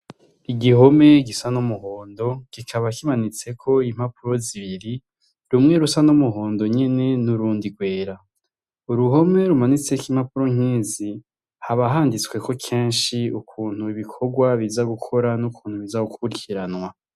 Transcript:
Igihome gisa nomuhondo gikaba kimanitseko impapuro zibiri rumwe rusa nomuhondo nyene n'urundi rwera uruhome rumanitseko impapuro nkizi habahanditsweko kenshi ukuntu ibikorwa biza gukora n'ukuntu biza kukukiranwa.